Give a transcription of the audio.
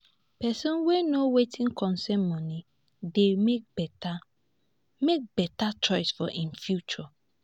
pesin wey know wetin concern moni dey mek beta mek beta choices for im future